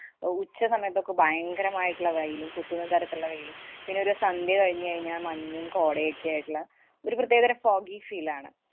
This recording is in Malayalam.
അഹ് ഉച്ചസമയത്തൊക്കെ ഭയങ്കരമായിട്ടുള്ള വെയിലും, കുത്തുന്ന തരത്തിലുള്ള വെയിലും, പിന്നെ ഒരു സന്ധ്യ കഴിഞ്ഞു കഴിഞ്ഞാല്‍ മഞ്ഞും കോടയൊക്കെയായിട്ടുള്ള ഒരു പ്രത്യേകതരം foggy feel ആണ്.